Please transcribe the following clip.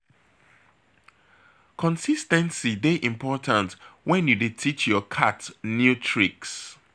Consis ten cy dey important wen you dey teach your cat new tricks.